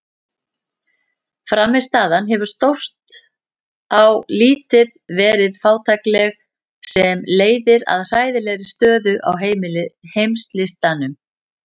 Frammistaðan hefur stórt á litið verið fátækleg sem leiðir að hræðilegri stöðu á heimslistanum.